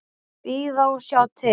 Bíða og sjá til.